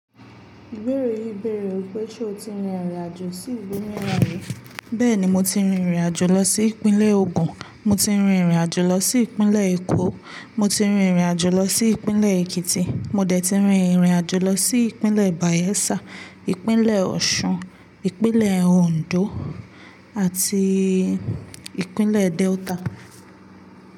Ìbéèrè yìí béèrè wipé, ṣe o ti rin ìrìnàjò sí ìlú mìíràn rí? Bẹ́ẹ̀ni, mo ti rin ìrìnàjò lọ sí Ìpínlẹ̀ Ògùn, mo ti rin ìrìnàjò lọ sí Ìpínlẹ̀ Èkó, mo ti rin ìrìnàjò lọ sí Ìpínlẹ̀ Èkìtì, mo dẹ̀ ti rin ìrìnàjò lọ sí Ìpínlẹ̀ Bàyẹ́sà, Ìpínlẹ̀ Ọ̀ṣun, Ìpínlẹ̀ Òǹdó àti Ìpínlẹ̀ Delta.